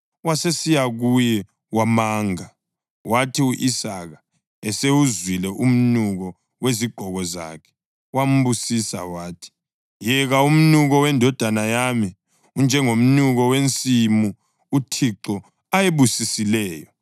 Wasesiya kuye wamanga. Kwathi u-Isaka esewuzwile umnuko wezigqoko zakhe, wambusisa wathi, “Yeka, umnuko wendodana yami unjengomnuko wensimu uThixo ayibusisileyo.